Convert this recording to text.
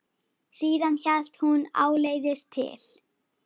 Síðan hélt hún áleiðis til